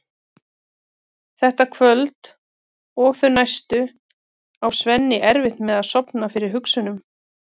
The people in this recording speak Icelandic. Þetta kvöld og þau næstu á Svenni erfitt með að sofna fyrir hugsunum um